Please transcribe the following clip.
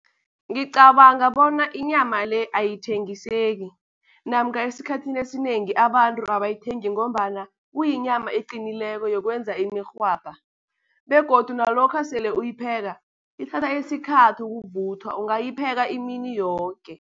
Ngicabanga bona inyama le ayithengiseki, namkha esikhathini esinengi abantu abayithengi ngombana kuyinyama eqinileko yokwenza imirhwabha. Begodu nalokha sele uyipheka ithatha isikhathi ukuvuthwa, ungayipheka imini yoke.